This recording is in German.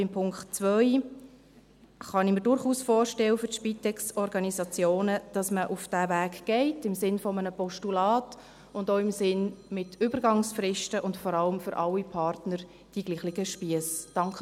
Beim Punkt 2 kann ich mir für die Spitex-Organisationen durchaus vorstellen, dass man diesen Weg geht, im Sinn eines Postulats, und auch im Sinn: mit Übergangsfristen und vor allem für alle Partner die gleichen Spiesse.